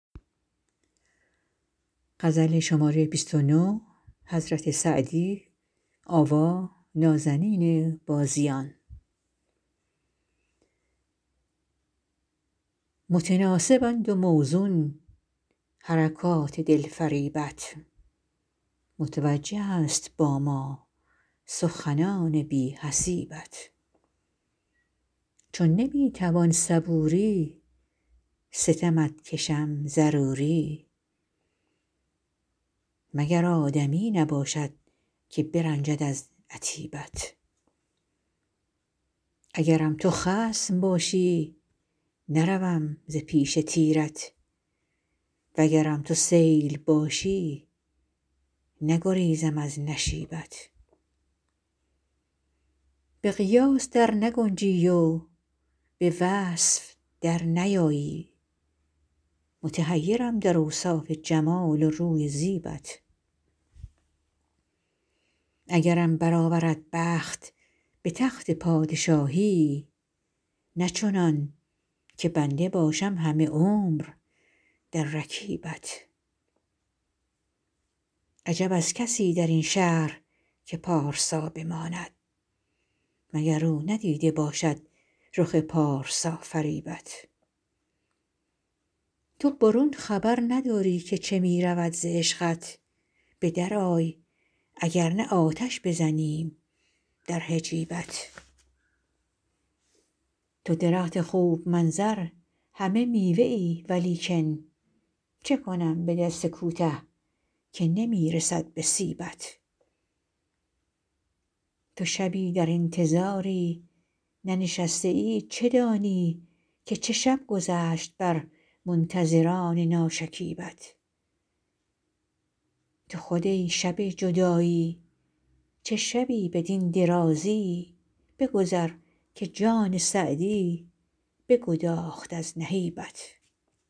متناسبند و موزون حرکات دلفریبت متوجه است با ما سخنان بی حسیبت چو نمی توان صبوری ستمت کشم ضروری مگر آدمی نباشد که برنجد از عتیبت اگرم تو خصم باشی نروم ز پیش تیرت وگرم تو سیل باشی نگریزم از نشیبت به قیاس در نگنجی و به وصف در نیایی متحیرم در اوصاف جمال و روی و زیبت اگرم برآورد بخت به تخت پادشاهی نه چنان که بنده باشم همه عمر در رکیبت عجب از کسی در این شهر که پارسا بماند مگر او ندیده باشد رخ پارسافریبت تو برون خبر نداری که چه می رود ز عشقت به درآی اگر نه آتش بزنیم در حجیبت تو درخت خوب منظر همه میوه ای ولیکن چه کنم به دست کوته که نمی رسد به سیبت تو شبی در انتظاری ننشسته ای چه دانی که چه شب گذشت بر منتظران ناشکیبت تو خود ای شب جدایی چه شبی بدین درازی بگذر که جان سعدی بگداخت از نهیبت